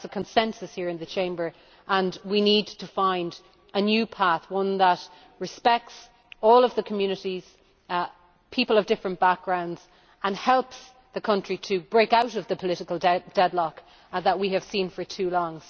I think there is a consensus here in the Chamber, and we need to find a new path, one that respects all the communities people of different backgrounds and helps the country to break out of the political deadlock that we have seen for too long.